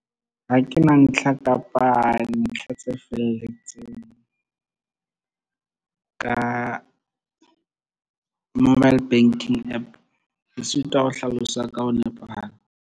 Ha ke na ntlha kapa ntlha tse felletseng ka mobile banking app. Ke sitwa ho hlalosa ka ho nepahala.